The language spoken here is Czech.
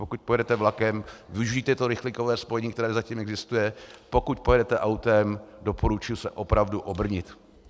Pokud pojedete vlakem, využijte to rychlíkové spojení, které zatím existuje, pokud pojedete autem, doporučuji se opravdu obrnit.